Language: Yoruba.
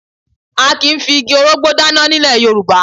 A kì í fi igi orógbó dáná ní ilẹ̀ Yorùbá